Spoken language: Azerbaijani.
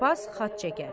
Papas xətt çəkər.